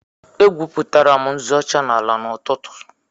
Egwupụtara m nzu ọcha n'ala n'ụtụtụ